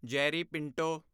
Jerry Pinto